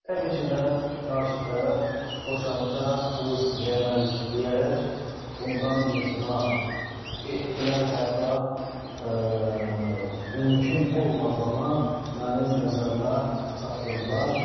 Təbii ki də, qarşı tərəf boşanmışa qız vermərik deyərək bundan imtina etdilər, hətta mümkün olmadığını mənim nəzərimə çatdırdılar.